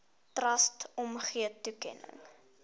trust omgee toekenning